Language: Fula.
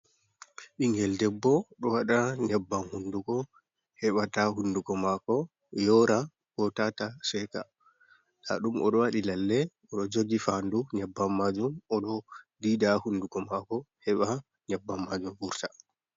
Ɓingel ɗeɓɓoo ɗo waɗa nyaɓɓam hunɗugo, heɓata hunɗugo mako yora, ko tata seka. Nɗaɗum oɗo waɗi lalle. Oɗo jogi fanɗu nyaɓɓam majum. Oɗo ɗiiɗa hunɗugo mako heba nyaɓɓam majum vurta.